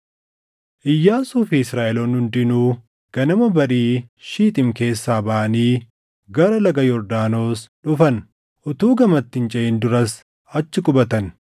Iyyaasuu fi Israaʼeloonni hundinuu ganama barii Shixiim keessaa baʼanii gara Laga Yordaanos dhufan. Utuu gamatti hin ceʼin duras achi qubatan.